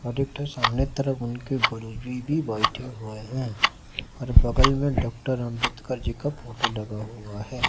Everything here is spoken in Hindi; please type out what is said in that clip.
आदित्य सामने तरफ उनके गुरुजी भी बैठे हुए हैं और बगल में डॉक्टर अंबेडकर जी का फोटो लगा हुआ है।